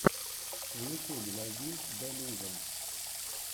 в ютюбе найди делюжон